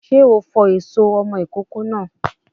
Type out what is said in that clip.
Sé o fọ èso ọmọ ìkókó náà?